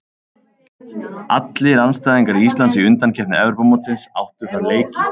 Allir andstæðingar Íslands í undankeppni Evrópumótsins áttu þar leiki.